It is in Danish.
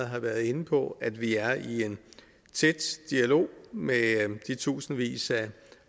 har været inde på at vi er i en tæt dialog med de tusindvis af